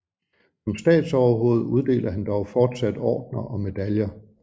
Som statsoverhoved uddeler han dog fortsat ordener og medaljer